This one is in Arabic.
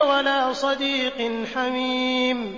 وَلَا صَدِيقٍ حَمِيمٍ